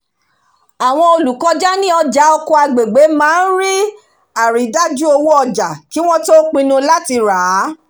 àwọn olùkọjá ní ọjà oko agbègbè máa ń ri àrídájú owó ọjà kí wọ́n tó pinnu láti rà á